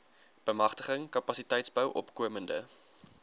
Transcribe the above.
bemagtiging kapasiteitsbou opkomende